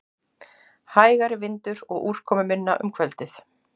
Hægari vindur og úrkomuminna um kvöldið